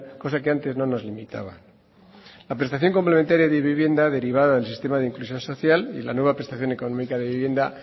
cosa que antes no nos limitaban la prestación complementaria de vivienda derivada del sistema de inclusión social y la nueva prestación económica de vivienda